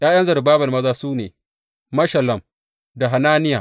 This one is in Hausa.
’Ya’yan Zerubbabel maza su ne, Meshullam da Hananiya.